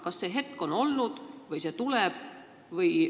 Kas selline hetk on olnud või see tuleb?